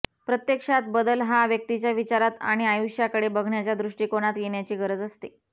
प्रत्यक्षात बदल हा व्यक्तीच्या विचारात आणि आयुष्याकडे बघण्याच्या दृष्टिकोनात येण्याची गरज असते